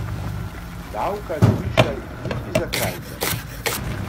Davka ne višaj niti za krajcar.